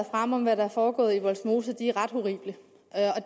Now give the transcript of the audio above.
fremme om hvad der er foregået i vollsmose er ret horrible